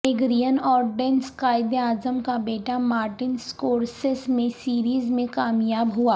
mag Ryan اور Dennis Quaid e Azam کا بیٹا مارٹن سکورسیس میں سیریز میں کامیاب ہوا